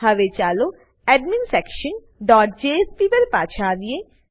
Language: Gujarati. હવે ચાલો એડમિન્સેક્શન ડોટ જેએસપી પર આવીએ